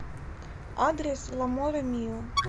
адрес ламоре мио